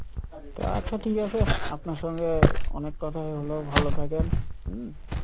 তো আচ্ছা ঠিক আছে আপনার সঙ্গে অনেক কথাই হোলো ভালো থাকেন হম